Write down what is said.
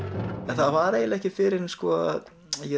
það var eiginlega ekki fyrr en ég